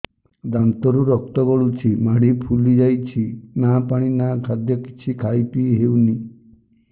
ଦାନ୍ତ ରୁ ରକ୍ତ ଗଳୁଛି ମାଢି ଫୁଲି ଯାଉଛି ନା ପାଣି ନା ଖାଦ୍ୟ କିଛି ଖାଇ ପିଇ ହେଉନି